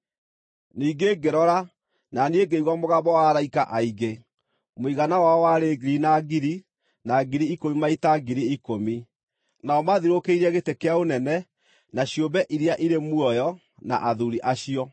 Ningĩ ngĩrora, na niĩ ngĩigua mũgambo wa araika aingĩ, mũigana wao warĩ ngiri na ngiri, na ngiri ikũmi maita ngiri ikũmi. Nao maathiũrũrũkĩirie gĩtĩ kĩa ũnene, na ciũmbe iria irĩ muoyo, na athuuri acio.